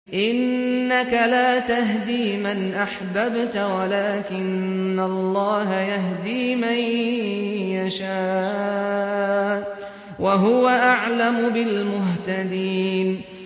إِنَّكَ لَا تَهْدِي مَنْ أَحْبَبْتَ وَلَٰكِنَّ اللَّهَ يَهْدِي مَن يَشَاءُ ۚ وَهُوَ أَعْلَمُ بِالْمُهْتَدِينَ